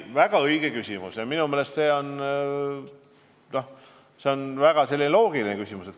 Väga õige küsimus ja minu meelest väga loogiline küsimus.